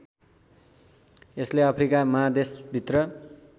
यसले अफ्रिका महादेशभित्र